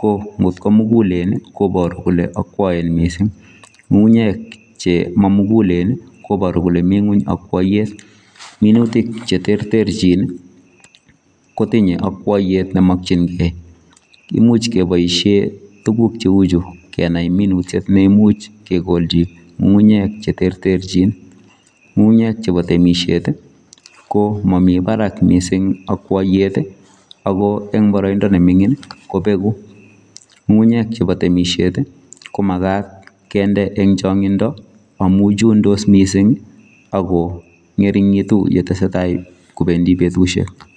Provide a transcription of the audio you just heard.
ko nkot ko mugulen, koboru kole akwoen mising, ng'ung'unyek che mamugulen koboru kole mi ng'uny akwoiyet. Minutik cheterterchin kotinye akwoiyet nemokchinkei. Imuch keboishe tuguk cheuchu kenai minutiet neimuch kekolchi ng'ung'unyek cheterterchin. Ng'ung'unyek chepo temishet ko momi barak mising akwoiyet ako eng boroindo neming'in kobeku. Ng'ung'unyek chepo temishet ko makat kende eng chong'indo amu chundos mising ako ng'ering'itu yetesetai kobendi betusiek.